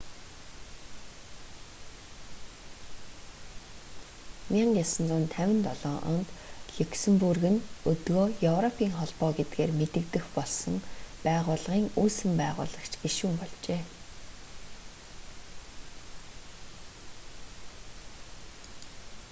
1957 онд люксембург нь өдгөө европын холбоо гэдгээр мэдэгдэх болсон байгууллагын үүсгэн байгуулагч гишүүн болжээ